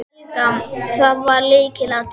Helga: Það var lykilatriðið?